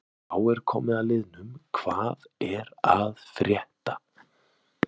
Þá er komið að liðnum Hvað er að frétta?